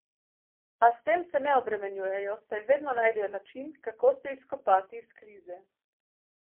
A s tem se ne obremenjujejo, saj vedno najdejo način, kako se izkopati iz krize.